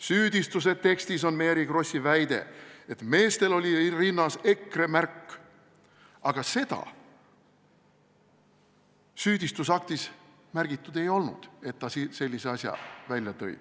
Süüdistuse tekstis on Mary Krossi väide, et meestel oli rinnas EKRE märk, aga seda süüdistusaktis märgitud ei olnud, et ta sellise asja välja tõi.